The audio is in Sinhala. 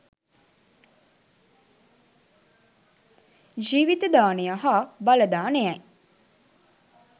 ජීවිත දානය හා බල දානයයි